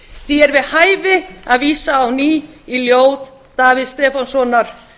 því er við hæfi að vísa á ný í ljós davíðs stefánssonar